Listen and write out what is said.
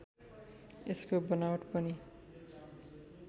यसको बनावट पनि